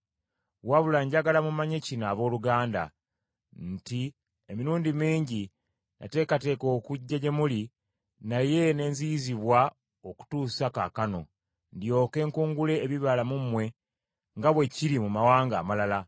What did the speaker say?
Wabula njagala mumanye kino, abooluganda nti, Emirundi mingi nateekateeka okujja gye muli naye ne nziyizibwa okutuusa kaakano, ndyoke nkungule ebibala mu mmwe, nga bwe kiri mu mawanga amalala.